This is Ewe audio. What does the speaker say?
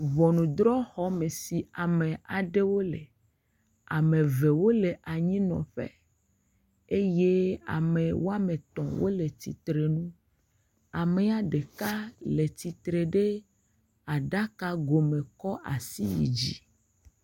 Ŋɔnudrɔ̃xɔme si ame aɖewo le. Ame ve wole anyinɔƒe eye ame oame tɔ̃ wole titrenu. Amea ɖeka le titre ɖe aɖakagome kɔ asi yid zi.